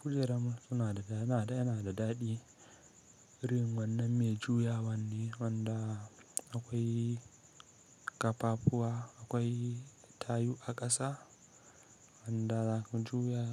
Kujeranmu sunada yanada daɗi. Irin wannan mai juya wanne wanda akwai ƙafafuwa, akwai tayu a ƙasa wanda kan juya